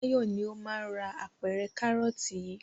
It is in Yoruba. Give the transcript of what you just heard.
Báyọ̀ ni ó máa ra apẹ̀rẹ̀ kárọ́tì yìí.